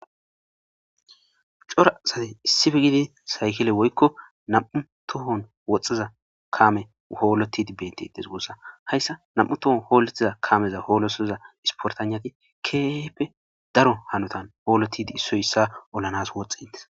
cora asate issife gidi saykile woykko nam7u tohon woxxiza kame hoolotidi betites goossa hayssa nam7u tohon hooletiza kameza hoolosoza isportanati keepe daro hanotan hoolotidi issoy issa olanas woxxe ntes